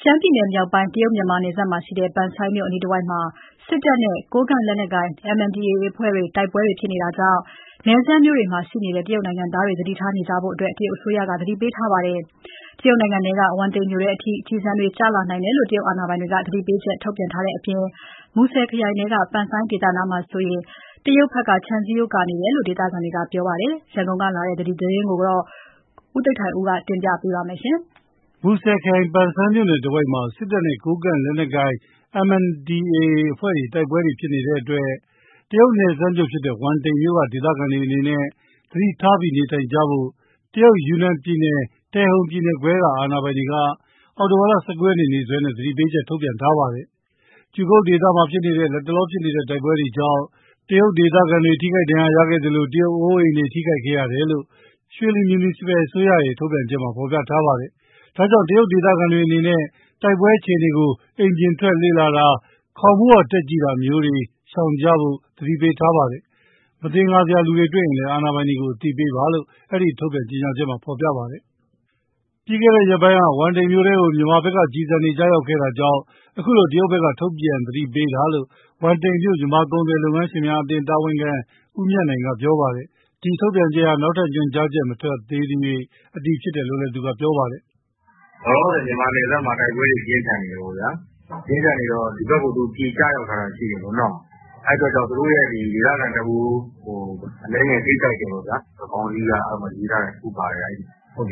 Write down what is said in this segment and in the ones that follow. ရှမ်းပြည်နယ်မြောက်ပိုင်း၊ တရုတ်-မြန်မာနယ်စပ် ပန်ဆိုင်းမြို့အနီးတဝိုက်မှာ စစ်တပ်နဲ့ ကိုးကန့်လက်နက်ကိုင် MNDAA တို့ တိုက်ပွဲတွေ ဖြစ်နေတာကြောင့် နယ်စပ်မြို့တွေမှာရှိနေတဲ့ တရုတ်နိုင်ငံသားတွေ သတိထားနေကြဖို့ တရုတ်အစိုးရက သတိပေးလိုက်ပါတယ်။ တရုတ်နိုင်ငံထဲက ဝမ်တိန်မြို့ထဲအထိ ကျည်ဆံတွေ ကျလာနိုင်တယ်လို့ တရုတ်အာဏာပိုင်တွေက သတိပေးချက် ထုတ်ထားပါတယ်။ မူဆယ်ခရိုင်ထဲက ပန်ဆိုင်းဒေသနားမှာဆို တရုတ်ဘက်က ခြံစည်းရိုးကာနေတယ်လို့ ဒေသခံတွေကပြောပါတယ်။ ရန်ကုန်ကလာတဲ့သတင်းကို ကိုသိန်းထိုက်ဦးက တင်ပြပေးထားပါတယ်။ မူဆယ်ခရိုင်၊ ပန်ဆိုင်းမြို့တဝိုက်မှာ စစ်တပ်နဲ့ ကိုးကန့်လက်နက်ကိုင် MNDAA အဖွဲ့တွေ တိုက်ပွဲတွေ ဖြစ်နေတဲ့အတွက် တရုတ်နယ်စပ်မြို့ဖြစ်တဲ့ ဝမ်တိန်မြို့က ဒေသခံတွေအနေနဲ့ သတိထားပြီး နေထိုင်ကြဖို့ တရုတ်ယူနန်ပြည်နယ်၊ တယ်ဟုန်ပြည်နယ်ခွဲက အာဏာပိုင်တွေက အောက်တိုဘာ ၁၉ ရက်နေ့စွဲနဲ့ သတိပေးချက် ထုတ်ပြန်ခဲ့ပါတယ်။ ကျူကုတ်ဒေသမှာဖြစ်နေတဲ့ လတ်တလောဖြစ်နေတဲ့ တိုက်ပွဲတွေကြောင့် တရုတ်ဒေသခံတွေ ထိခိုက်ဒဏ်ရာရမှုနဲ့ တရုတ်အိုးအိမ်တွေ ထိခိုက်ခဲ့တယ်လို့ ရွှေလီမြူနီစပယ်အစိုးရရဲ ထုတ်ပြန်ချက်မှာ ဖော်ပြထားပါတယ်။ ဒါကြောင့် တရုတ်ဒေသခံတွေအနေနဲ့တိုက်ပွဲအခြေအနေကို အိမ်ပြင်ထွက် လေ့လာတာ၊ ခေါင်မိုးပေါ် တက်ကြည့်တာ ရှောင်ရှားကြတာမျိုး မလုပ်ဖို့ သတိပေးထားပါတယ်။ မသင်္ကာစရာလူတွေ တွေ့ရင်လည်း အာဏာပိုင်တွေကို အသိပေးပါလို့ အဲဒီထုတ်ပြန်ချက်ထဲမှာ ဖော်ပြထားပါတယ်။ ပြီးခဲ့တဲ့ရက်ပိုင်းက ဝမ်တိန်မြို့ထဲကို မြန်မာဘက်က ကျည်ဆံတွေ ကျရောက်ခဲ့တာကြောင့် ခုလို တရုတ် ဘက်က ထုတ်ပြန်သတ်ပေးတာလို့ ဝမ်တိန်မြို့မြန်မာကုန်သည်လုပ်ငန်းရှင်များအသင်း တာဝန်ခံ ဦးမြတ်နိုင်က ပြောပါတယ်။ ဒီထုတ်ပြန်ချက်ဟာ နောက်ထပ်ညွှန်ကြားချက် မထွက်သေးသရွှေ့ အတည်ဖြစ်တယ်လို့လည်း သူကပြောပါတယ်။ “လောလောဆယ် မြန်မာနယ်စပ်မှာ တိုက်ပွဲတွေ ပြင်းထန်နေတယ်ပေါ့ဗျာ၊ ဒီဘက် ( တရုတ်ဘက်) ကို ကျည်ကျရောက်ထားတာ ရှိတယ်။ အဲဒီအတွက် သူတို့ရဲ့ ဒေသခံတဦးကို အနည်းငယ် ထိခိုက်တယ်ပေါ့ဗျာ၊ ခေါင်းစည်းမှာ ရေးထားတယ်။ အဲ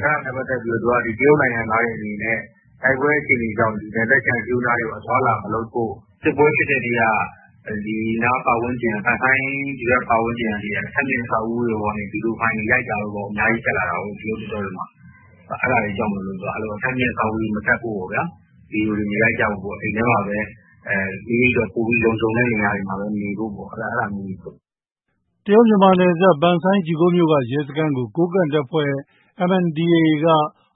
ဒါနဲ့ပတ်သက်ပြီး တရုတ်နိုင်ငံသားတွေအနေနဲ့ တိုက်ပွဲအခြေအနေကြောင့် နယ်စပ်ခြံစည်းရိုးနားတွေ အသွားအလာမလုပ်ဖို့၊ စစ်ပွဲဖြစ်တဲ့နေရာ ပန်ဆိုင်း ဒီဘက် အထပ်မြင့်အဆောက်အဦတွေပေါ်ကနေ ဗွီဒီယို ရိုက်ထားတဲ့ဖိုင်တွေ အများကြီးတက်လာတာကို။ တရုတ် TikTok တွေမှာ အဲဒါတွေကြောင့်မို့ အထပ်အမြင့် အဆောက်အဦတွေပေါ် မတက်ဖို့၊ ဗွီဒီယို မရိုက်ကြဖို့ အိမ်ထဲ မိမိအတွက် လုံခြုံတဲ့ နေရာတွေမှာပဲ နေဖို့ပေါ့ဗျာ။” တရုတ်- မြန်မာနယ်စပ် ပန်ဆိုင်း (ကျူကုတ်) မြို့က ရဲစခန်းကို ကိုးကန့်တပ်ဖွဲ့ MNDAA က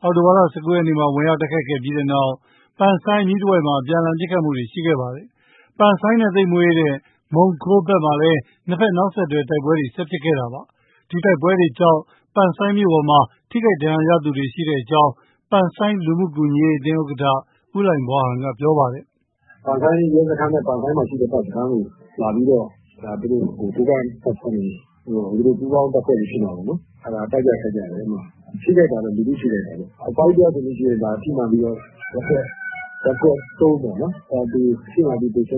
အောက်တိုဘာ ၁၉ ရက်မှာ ဝင်ရောက် တိုက်ခိုက်ပြီးတဲ့နောက် ပန်ဆိုင်းအနီးတဝိုက်မှာ အပြန်အလှန်ပစ်ခတ်မှုတွေ ရှိခဲ့ပါတယ်။ ပန်ဆိုင်းနဲ့ သိပ်မဝေးတဲ့ မုံကိုးဘက်မှာလည်း နှစ်ဘက် နောက်ဆက်တွဲ တိုက်ပွဲတွေ ဆက်ဖြစ်ခဲ့တာပါ။ ဒီတိုက်ပွဲတွေကြောင့် ပန်ဆိုင်းမြို့ပေါ်မှာ ထိခိုက်ဒဏ်ရာရသူတွေ ရှိခဲ့ကြောင်း ပန်းဆိုင်းလူမှုကူညီရေးအသင်း ဥက္ကဋ္ဌ ဦးလှိုင်ဘွားဟန်က ပြောပါတယ်။ “ပန်ဆိုင်းရဲစခန်း ပန်ဆိုင်းမှာရှိတဲ့ တပ်စခန်းကို လာပြီးတော့ ကိုးကန့်တပ်ဖွဲ့တွေ၊ သူတို့ပူးပေါင်းတပ်ဖွဲ့တွေ ဖြစ်မှာပေါ့။ အဲဒါတိုက်ကြ ခိုက်ကြတယ်၊ ထိခိုက်တာကတော့ လူထုထိခိုက်တာပေါ့။ အဖွားကြီးတယောက်ဆိုရင် ထိမှန်ပြီးတော့ ရပ်ကွက် ၃ ပေါ့နော်။ သေဆုံးတယ်တယ်။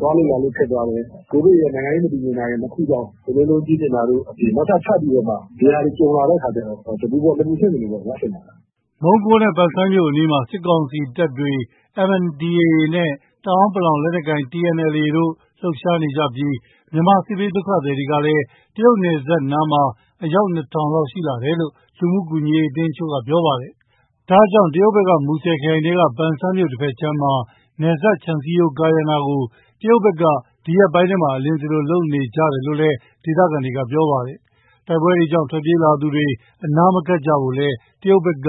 သွားလို့လာလို့ ခက်သွားတယ်။ ကိုဗစ်ရယ် နိုင်ငံရေး မတည်ငြိမ်တာရယ်။ နှစ်ခုကြောင့် ကုန်ဈေးနှုန်း ကြီးမြင့်တာတို့အပြင် နောက်ထပ် ထပ်ပြီးတော့ ဒီဟာတွေ ကြုံလာတဲ့အခါကျတော့ တပူပေါ် နှစ်ပူဆင့်တာပေါ့ဗျာ။” မုံကိုးနဲ့ ပန်ဆိုင်းမြို့အနီးနားမှာ စစ်ကောင်စီတပ်တွေ၊ MNDAA နဲ့ တအောင်လက်နက်ကိုင် TNLA တို့ လှုပ် ရှား နေကြပြီး မြန်မာ စစ်ဘေးဒုက္ခသည်ကလည်း တရုတ် နယ်စပ်နားမှာ အယောက် ၂,၀၀၀ ကျော်ရှိလာတယ်လို့ လူမှုကူညီရေး အသင်းတချို့က ပြောပါတယ်။ ဒါကြောင့် တရုတ်ဘက်က မူဆယ်ခရိုင်ထဲက ပန်ဆိုင်း မြို့တဘက်ခြမ်းမှာ နယ်စပ်ခြံစည်းရိုးကာရံတာကို တရုတ်ဘက်က ဒီရက်ပိုင်းထဲမှာ အလျင်စလိုလုပ်နေကြတယ်လို့ ဒေသခံတွေက ပြောပါတယ်။ တိုက်ပွဲတွေကြောင့် ထွက်ပြေးလာသူတွေ အနားမကပ်ကြဖို့လည်း တရုတ်ဘက်က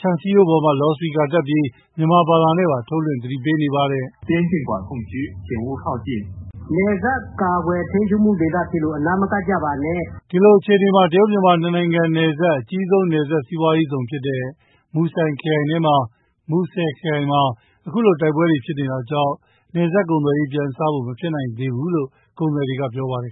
ခြံစည်းရိုးပေါ်မှာ လော်စပီကာတပ်ပြီး မြန်မာဘာသာနဲ့ပါ ထုတ်လွှင့် သတိပေးနေပါတယ်။ ဒီလိုအခြေအနေမှာ တရုတ်- မြန်မာ နှစ်နိုင်ငံရဲ့အကြီးဆုံး နယ်စပ်စီးပွားရေးဇုန်ဖြစ်တဲ့ မူဆယ်ခရိုင်မှာ အခုလိုတိုက်ပွဲတွေ ဖြစ်နေတာကြောင့် နယ်စပ်ကုန်သွယ်ရေး ပြန်စနိုင်ဖို့ မဖြစ်နိုင်သေးလို့ ကုန်သည်တွေက ပြောပါတယ်